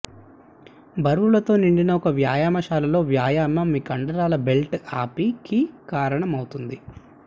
బరువులతో నిండిన ఒక వ్యాయామశాలలో వ్యాయామం మీ కండరాల బిల్డ్ అప్ కి కారణం అవుతుంది